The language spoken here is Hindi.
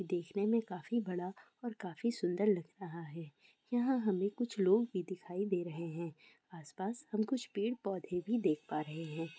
देखने में काफी बड़ा और काफी सुन्दर लग रहा है| यहाँ हमें कुछ लोग भी दिखाई दे रहे हैं| आस-पास हम कुछ पेड़-पौधे भी देख पा रहे हैं।